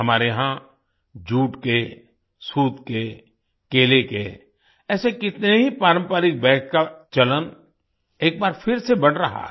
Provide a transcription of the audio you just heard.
हमारे यहाँ जूट के सूत के केले के ऐसे कितने ही पारंपरिक बाग का चलन एक बार फिर से बढ़ रहा है